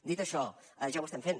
dit això ja ho estem fent